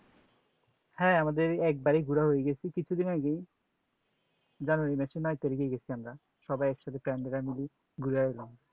হ্যাঁ আমাদের একেবারে ঘোরা হয়ে গেছে, কিছুদিন আগে January মাসে নয় তারিকে গেছি আমরা সবাই একসাথে ঘুরে এলাম